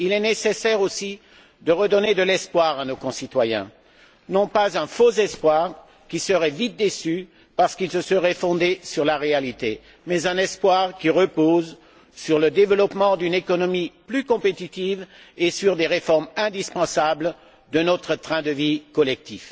Il est nécessaire aussi de redonner de l'espoir à nos concitoyens, non pas un faux espoir, qui serait vite déçu parce qu'il se serait fondé sur la réalité, mais un espoir qui repose sur le développement d'une économie plus compétitive et sur des réformes indispensables de notre train de vie collectif.